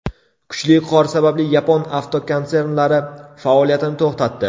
Kuchli qor sababli yapon avtokonsernlari faoliyatini to‘xtatdi.